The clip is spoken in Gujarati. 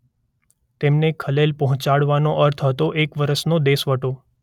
તેમને ખલેલ પહોંચાડવાનો અર્થ હતો એક વર્ષનો દેશવટો.